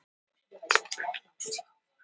Jörgen, hvaða mánaðardagur er í dag?